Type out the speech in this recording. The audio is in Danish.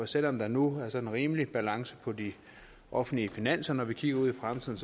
selv om der nu er sådan rimelig balance på de offentlige finanser når vi kigger ud i fremtiden